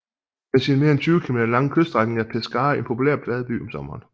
Med sine mere end 20 km lange kyststrækning er Pescara en populær badeby om sommeren